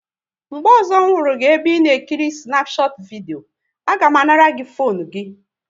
Mgbe ọzọ hụ gị ebe ị na ekiri Snapchat vidio, a ga m anara gị fone gị!